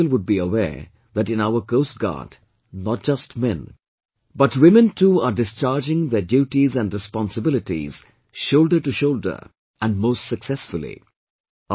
Not many people would be aware that in our Coast Guard, not just men, but women too are discharging their duties and responsibilities shoulder to shoulder, and most successfully